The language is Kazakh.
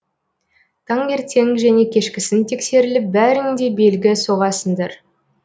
таңертең және кешкісін тексеріліп бәрің де белгі соғасыңдар